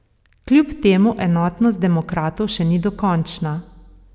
Kljub temu enotnost demokratov še ni dokončna.